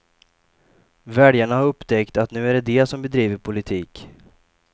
Väljarna har upptäckt att nu är det de som bedriver politik.